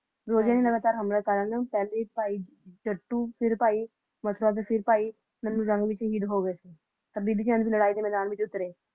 ਜੀ ਮੈਦਾਨ ਮੇਂ ਉਤਰੇ, ਹਮਲਾ ਕਰਾ ਨਾ, ਪਹਿਲੇ ਭਾਈ ਜੱਟੂ, , ਫਿਰ ਬਾਣੀਂ ਨੱਨੂੰ ਰਾਣੋ ਵੀ ਸ਼ਹੀਦ ਹੋ ਗਏ ਥੇ